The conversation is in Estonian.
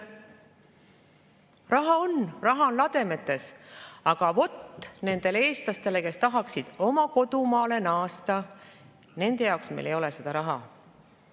Raha on, raha on lademetes, aga nendele eestlastele, kes tahaksid oma kodumaale naasta, ei ole meil seda raha.